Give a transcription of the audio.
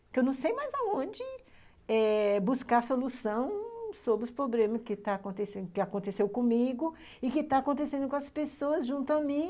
Porque eu não sei mais aonde eh buscar a solução sobre os problemas que está acontecendo, que aconteceu comigo e que estão acontecendo com as pessoas junto a mim.